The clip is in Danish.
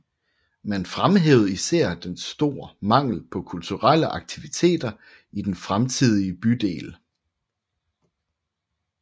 Man fremhævede især en stor mangel på kulturelle aktiviteter i den fremtidige bydel